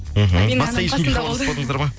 мхм басқа ешкімге хабарласпадыңыздар ма